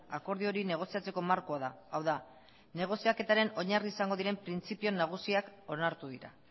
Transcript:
akordio hori negoziatzeko markoa da hau da negoziaketaren oinarri izango diren printzipio nagusiak onartu dira